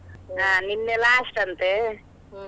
ನಿನ್ನೆ last ಅಂತೆ.